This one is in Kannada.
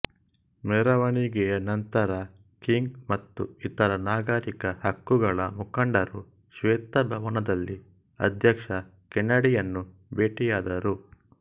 ಮೆರವಣಿಗೆಯ ನಂತರ ಕಿಂಗ್ ಮತ್ತು ಇತರ ನಾಗರಿಕ ಹಕ್ಕುಗಳ ಮುಖಂಡರು ಶ್ವೇತ ಭವನದಲ್ಲಿ ಅಧ್ಯಕ್ಷ ಕೆನಡಿಯನ್ನು ಭೇಟಿಯಾದರು